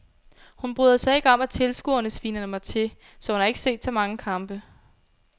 Hun bryder sig ikke om at tilskuerne sviner mig til, så hun har ikke set så mange kampe.